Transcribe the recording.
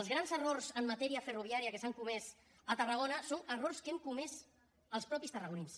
els grans errors en matèria ferroviària que s’han comès a tarragona són errors que hem comès els mateixos tarragonins